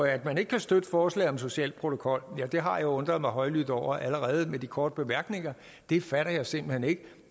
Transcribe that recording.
at man ikke kan støtte forslaget om en social protokol har jeg undret mig højlydt over allerede i de korte bemærkninger det fatter jeg simpelt hen ikke